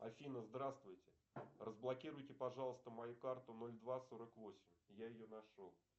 афина здравствуйте разблокируйте пожалуйста мою карту ноль два сорок восемь я ее нашел